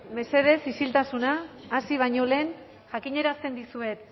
mesedez isiltasuna hasi baino lehen jakinarazten dizuet